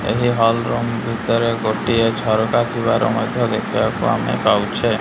ଏହି hall room ଭିତରେ ଗୋଟିଏ ଝରକା ଥିବାର ମଧ୍ୟ ଦେଖିବାକୁ ଆମେ ପାଉଛେ।